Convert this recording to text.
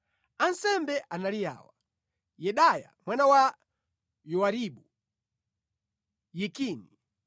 Ansembe anali awa: Yedaya mwana wa Yowaribu; Yakini;